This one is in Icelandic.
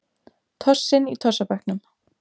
Tossinn í tossabekknum.